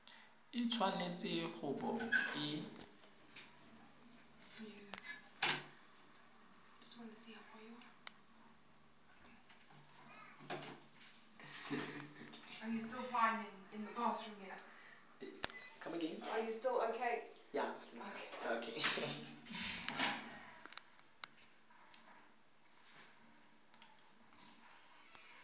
e tshwanetse go bo e